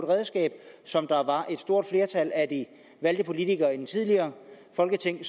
redskab som et stort flertal af de valgte politikere i det tidligere folketing